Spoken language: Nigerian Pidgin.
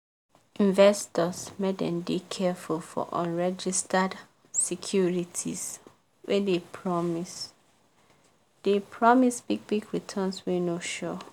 investors make dem dey careful for unregistered securities wey dey promise dey promise big big returns wey no sure.